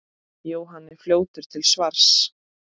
Jóhann er fljótur til svars.